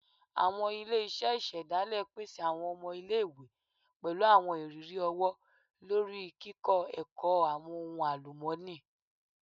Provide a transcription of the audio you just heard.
Awọn ile-iṣẹ isedale pese awọn ọmọ ile-iwe pẹlu awọn iriri ọwọ-lori ni kikọ ẹkọ awọn ohun alumọni